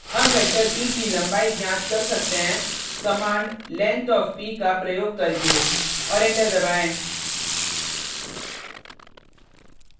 हम vector p की लम्बाई ज्ञात कर सकते हैं कमांड length of p का प्रयोग करके और एंटर दबाएँ